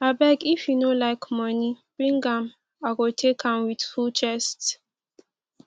abeg if you no like money bring am i go take am with full chest